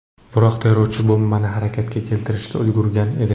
Biroq terrorchi bombani harakatga keltirishga ulgurgan edi.